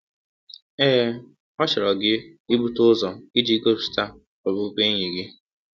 Ee, ọ chọrọ gị ibute ụzọ iji gọsipụta ọbụbụenyi gị.